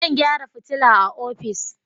Zan gyara fitila a ofis.